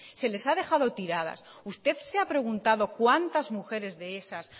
se les ha dejado tiradas usted se ha preguntado cuántas mujeres de esas